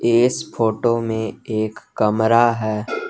इस फोटो में एक कमरा है।